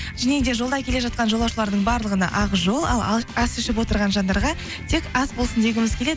және де жолда келе жатқан жолаушылардың барлығына ақ жол ал ас ішіп отырған жандарға тек ас болсын дегіміз келеді